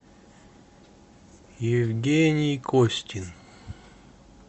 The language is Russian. евгений костин